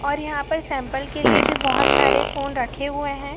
और यहां पर सैंपल के लिए भी बहुत सारे फोन रखें हुए हैं।